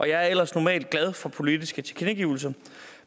jeg er ellers normalt glad for politiske tilkendegivelser